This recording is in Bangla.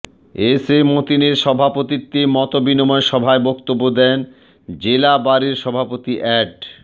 এস এ মতিনের সভাপতিত্বে মতবিনিময়সভায় বক্তব্য দেন জেলা বারের সভাপতি অ্যাড